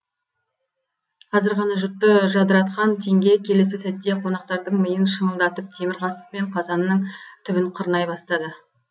қазір ғана жұртты жадыратқан теңге келесі сәтте қонақтардың миын шыңылдатып темір қасықпен қазанның түбін қырнай бастады